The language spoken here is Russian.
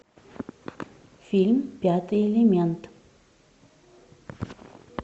фильм пятый элемент